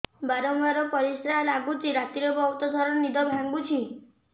ବାରମ୍ବାର ପରିଶ୍ରା ଲାଗୁଚି ରାତିରେ ବହୁତ ଥର ନିଦ ଭାଙ୍ଗୁଛି